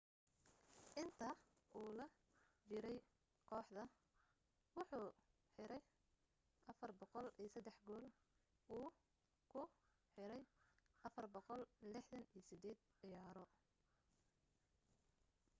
inta u la jiray kooxda wuxuu xiray 403 gool uu ku xiray 468 ciyaaro